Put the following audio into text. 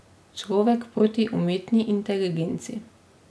Človek proti umetni inteligenci.